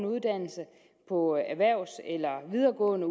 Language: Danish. uddannelse på erhvervs eller videregående